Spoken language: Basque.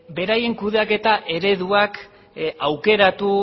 beraien kudeaketa ereduak aukeratu